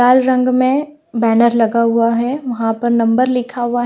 लाल रंग में बैनर लगा हुआ है वहां पर नंबर लिखा हुआ ---